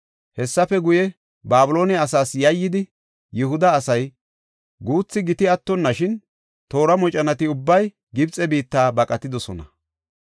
Hessafe guye, Babiloone asaas yayyidi, Yihuda asay, guuthi giti attonnashin, toora moconati ubbay Gibxe biitta baqatidosona.